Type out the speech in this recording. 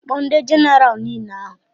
Kpọọ ndị jenaraal nile ahụ!